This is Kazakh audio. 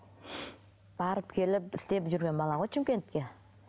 барып келіп істеп жүрген балаға ғой шымкентке